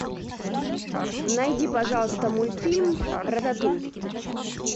найди пожалуйста мультфильм рататуй